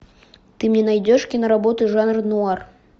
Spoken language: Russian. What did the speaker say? ты мне найдешь киноработу жанр нуар